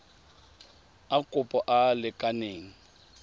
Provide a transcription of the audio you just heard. a kopo a a lekaneng